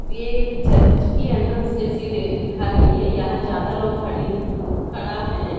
ये एक चर्च की एंट्रेंस जैसे दिख रही है यहां ज्यादा लोग खड़ी खड़ा है।